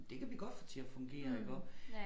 Men det kan vi godt få til at fungere iggå